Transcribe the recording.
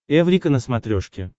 эврика на смотрешке